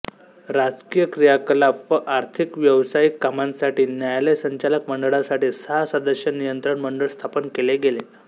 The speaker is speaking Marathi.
राजकीय क्रियाकलाप व आर्थिकव्यावसायिक कामांसाठी न्यायालय संचालक मंडळासाठी सहा सदस्य नियंत्रण मंडळ स्थापन केले गेले